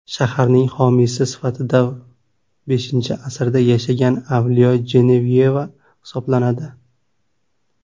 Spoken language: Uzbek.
Shaharning homiysi sifatida V asrda yashagan Avliyo Jenevyeva hisoblanadi.